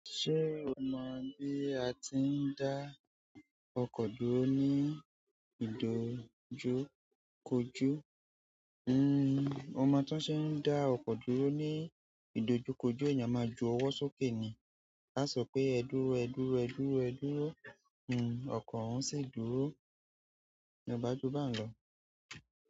Ṣé o mọ̀ bí a ti ń dá ọkọ̀ dúró ní ìdojúkojú? N o mo tó ṣe ń dá ọkọ̀ dúró ní ìdojúkojú, ẹ̀yàn máa ju ọwọ́ sókè ni, a sọ pé "ẹ dúró, ẹ dúró, ẹ dúró, ẹ dúró", n ọkọ̀ òun sì dúró ní o baju bahun lọ.